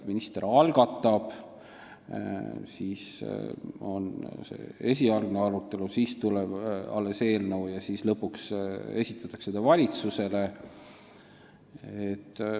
Minister algatab, siis on esialgne arutelu, siis tuleb eelnõu ja lõpuks esitatakse see valitsusele.